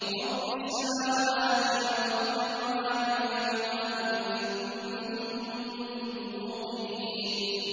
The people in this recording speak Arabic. رَبِّ السَّمَاوَاتِ وَالْأَرْضِ وَمَا بَيْنَهُمَا ۖ إِن كُنتُم مُّوقِنِينَ